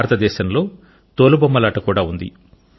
భారత దేశములో తోలు బొమ్మలాట కూడా ఉంది